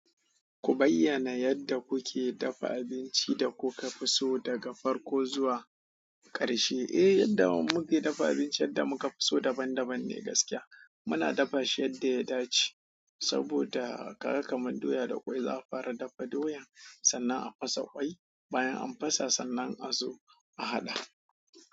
Ku bayyana yadda kuke dafa abinci da kuka fi so daga farko zuwa ƙarshe. Eh, yadda mu ke dafa abincin da muka fi so daban daban ne gaskiya. Muna dafa shi yadda ya dace saboda, ka ga kamar doya da ƙwai, za a fara dafa doyan sannan a fasa ƙwai, bayan an fasa sannan a zo a haɗa.